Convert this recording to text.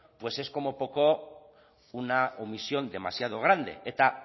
pues es como poco una omisión demasiado grande eta